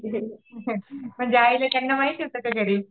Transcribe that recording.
म्हणजे आईंना वगैरे माहिती होतं घरी?